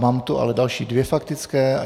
Mám tu ale další dvě faktické.